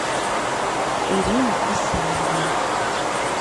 ирина исаевна